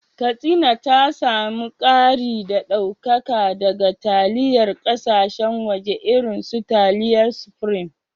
Katsina ta samu kari da daukaka daga taliyar kasashen waje irin su taliyar Supreme